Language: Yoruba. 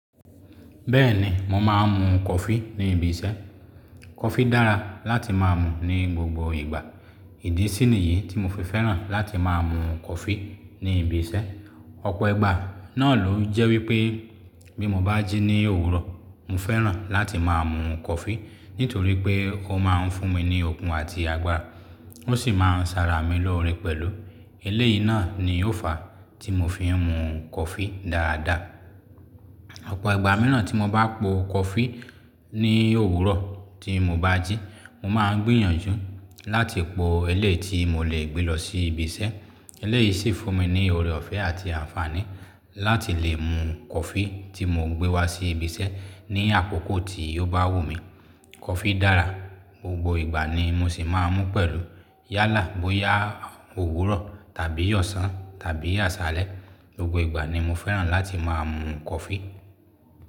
Bẹ́ẹ̀ni, mo máa ń mu coffee ní ibi iṣẹ́. Coffee dára láti máa mu ní gbogbo ìgbà. Ìdí síniyìí tí mo fi fẹ́ràn láti máa mu coffee ní ibi iṣẹ́. Ọ̀pọ̀ ìgbà náà ló jẹ́ wípé bí mo bá jí ní òwúrọ̀, mo fẹ́ràn láti máa mu coffee nítorí pé ó máa ń fún mi ní okun àti agbára, ó sì máa ń ṣàrà mí lọ́rẹ pẹ̀lú. Eléyìí náà ni ó fàá tí mo fi ń mu coffee dáadáa. Ọ̀pọ̀ ìgbà mìíràn tí mo bá po coffee ní òwúrọ̀ tí mo bá jí, mo máa ń gbìyànjú láti po ẹlẹ́yi tí mo lè gbé lọ sí ibi iṣẹ́. Eléyìí sì fún mi ní ọ̀rẹ́ ọ̀fẹ́ àti àǹfààní láti lè mu coffee tí mo gbé wá sí ibi iṣẹ́ ní àkókò tí ó bá wù mí. Coffee dára, gbogbo ìgbà ni mo sì máa ń mú pẹ̀lú. Yálà, bóyá òwúrọ̀ tàbí ọ̀sán tàbí àsálẹ́, gbogbo ìgbà ni mo fẹ́ràn láti máa mu coffee.